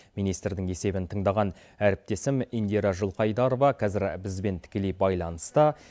министрдің есебін тыңдаған әріптесім индира жылқайдарова қазір бізбен тікелей байланыста